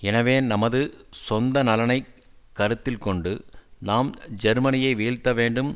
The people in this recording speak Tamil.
எனவே நமது சொந்த நலனை கருத்தில் கொண்டு நாம் ஜேர்மனியை வீழ்த்த வேண்டும்